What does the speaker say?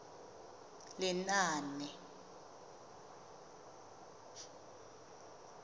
lenaane